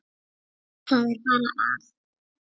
Það er bara að.